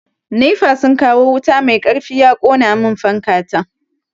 Nefa sun kawo wuta mai karfi ya kona mun fanka ta.